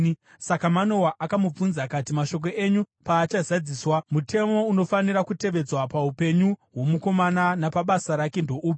Saka Manoa akamubvunza akati, “Mashoko enyu paachazadziswa, mutemo unofanira kutevedzwa paupenyu hwomukomana napabasa rake ndoupi?”